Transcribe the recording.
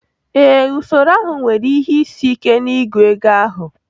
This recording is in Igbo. Ee, usoro ahụ nwere ihe isi ike n'ịgụ ego ahụ.